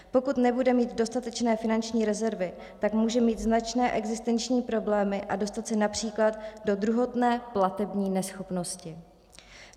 Pokud nebude mít dostatečné finanční rezervy, tak může mít značné existenční problémy a dostat se například do druhotné platební neschopnosti.